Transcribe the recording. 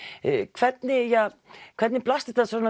hvernig hvernig blasti þetta